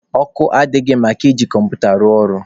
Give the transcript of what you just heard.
Ọkụ adịghị maka iji kọmputa rụọ ọrụ.